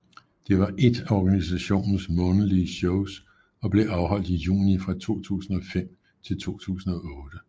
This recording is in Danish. Det var ét af organisationens månedlige shows og blev afholdt i juni fra 2005 til 2008